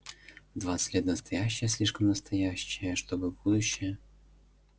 в двадцать лет настоящее слишком настоящее чтобы будущее